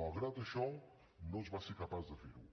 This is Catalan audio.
malgrat això no es va ser capaç de ferho